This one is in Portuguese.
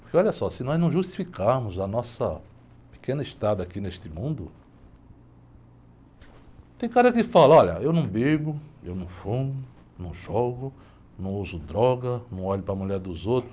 Porque olha só, se nós não justificarmos a nossa pequena estada aqui neste mundo, tem cara que fala, olha, eu não bebo, eu não fumo, não jogo, não uso droga, não olho para a mulher dos outros.